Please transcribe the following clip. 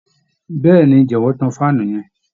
Bẹẹni, jọ̀wọ́ tán faanu yẹn